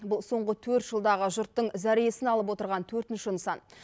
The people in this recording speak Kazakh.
бұл соңғы төрт жылдағы жұрттың зәресін алып отырған төртінші нысан